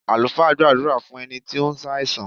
Àlùfáà gbàdúrà fún ẹni tí ó ń ṣàìsàn.